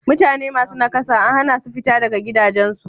Mutane masu nakasa an hana su fita daga gidajensu.